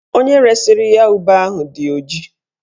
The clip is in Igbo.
Onye resiri ya ube ahụ dị ọjị